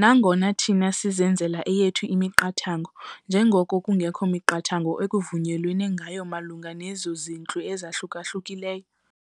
nangona thina sizenzele eyethu imiqathango njengoko kungekho miqathango ekuvunyelwene ngayo malunga nezintlu ezahluka-hlukileyo.